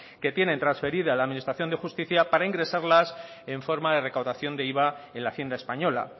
que tienen transferida la administración de justicia para ingresarlas en forma de recaudación de iva en la hacienda española